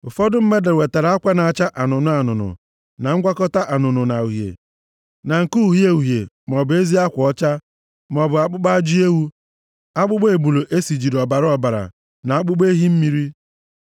Ụfọdụ mmadụ wetara akwa na-acha anụnụ anụnụ na ngwakọta anụnụ na uhie na nke uhie uhie maọbụ ezi akwa ọcha maọbụ akpụkpọ ajị ewu, akpụkpọ ebule e sijiri ọbara ọbara na akpụkpọ ehi mmiri.